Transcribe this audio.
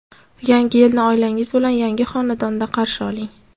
Yangi yilni oilangiz bilan yangi xonadonda qarshi oling!